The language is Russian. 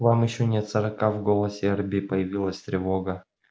вам ещё нет сорока в голосе эрби появилась тревога